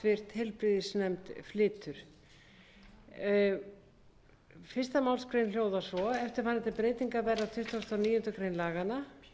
háttvirtur heilbrigðisnefnd flytur fyrstu grein hljóðar svo eftirfarandi breytingar verða á tuttugustu og níundu grein laganna